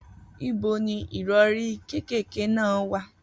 Ibo ni ìrọ̀rí kékèké náà wà?